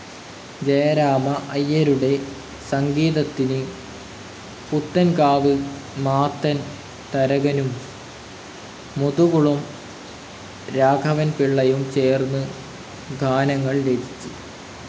ജയരാമ അയ്യരുടെ സംഗീതത്തിനു് പുത്തൻകാവ് മാത്തൻ തരകനും, മുതുകുളം ‌രാഘവൻപിള്ളയും ചേർന്നു് ഗാനങ്ങൾ രചിച്ചു.